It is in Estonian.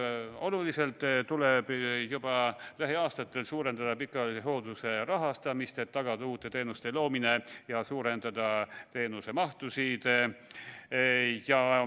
Oluliselt tuleb juba lähiaastatel suurendada pikaajalise hoolduse rahastamist, et tagada uute teenuste loomine ja suurendada teenuste mahtu.